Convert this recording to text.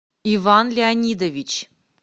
иван леонидович